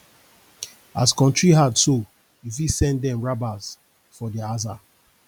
as kontry hard so yu fit send dem rabas for dia aza